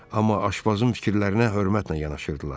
Amma aşbazın fikirlərinə hörmətlə yanaşırdılar.